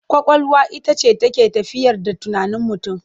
Ƙwaƙwalwa ita ce take tafiyar da tunanin mutum.